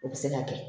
O bɛ se ka kɛ